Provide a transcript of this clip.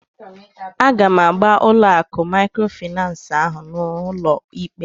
Aga m agba ụlọ akụ maịkrofịnansị ahụ n'ụlọ ikpe